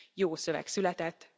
Jó szöveg született.